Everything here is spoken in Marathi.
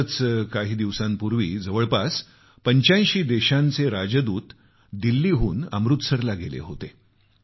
नुकतेच काही दिवसांपूर्वी जवळपास 85 देशांचे राजदूत दिल्लीहून अमृतसरला गेले होते